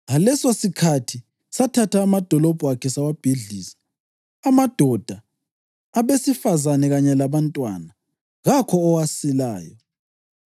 Ngalesosikhathi sathatha amadolobho akhe sawabhidliza, amadoda, abesifazane kanye labantwana. Kakho owasilayo.